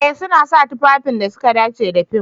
Eh suna sa tufafin da suka dace da fim.